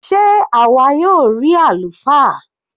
Sé àwa yóò rí àlùfáà?